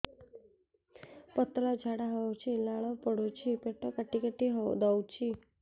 ପତଳା ଝାଡା ହଉଛି ଲାଳ ପଡୁଛି ପେଟ କାଟି କାଟି ଦଉଚି